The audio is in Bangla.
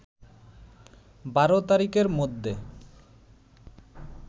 ১২ তারিখের মধ্যে